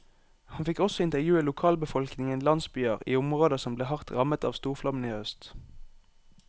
Han fikk også intervjue lokalbefolkningen i landsbyer i områder som ble hardt rammet av storflommen i høst.